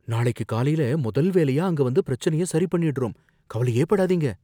நாளைக்குக் காலைல முதல் வேலையா அங்க வந்து பிரச்சனைய சரிபண்ணிடுறோம், கவலையே படாதீங்க